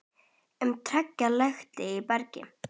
um trega lekt í bergi.